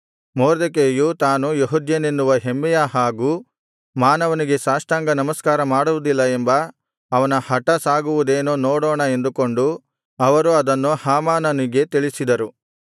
ಮೊರ್ದೆಕೈಯು ತಾನು ಯೆಹೂದ್ಯನೆನ್ನುವ ಹೆಮ್ಮೆಯ ಹಾಗೂ ಮಾನವನಿಗೆ ಸಾಷ್ಟಾಂಗನಮಸ್ಕಾರ ಮಾಡುವುದಿಲ್ಲ ಎಂಬ ಅವನ ಹಟ ಸಾಗುವುದೇನೋ ನೋಡೋಣ ಎಂದುಕೊಂಡು ಅವರು ಅದನ್ನು ಹಾಮಾನನಿಗೆ ತಿಳಿಸಿದರು